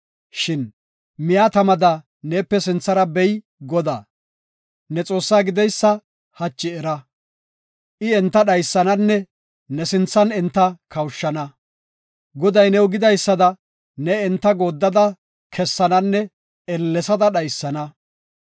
Shin miya tamada neepe sinthara bey Godaa, ne Xoossaa gideysa hachi era. I enta dhaysananne ne sinthan enta kawushana. Goday new gidaysada ne enta gooddada kessananne ellesada dhaysana.